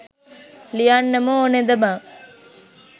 ලියන්නම ඕනද බං.